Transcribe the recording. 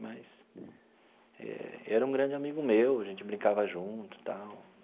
mas eh e era um grande amigo meu, a gente brincava junto e tal.